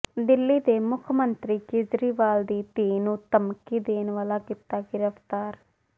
ਦਿੱਲੀ ਦੇ ਮੁੱਖ ਮੰਤਰੀ ਕੇਜਰੀਵਾਲ ਦੀ ਧੀ ਨੂੰ ਧਮਕੀ ਦੇਣ ਵਾਲਾ ਕੀਤਾ ਗ੍ਰਿਫ਼ਤਾਰ